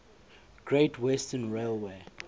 great western railway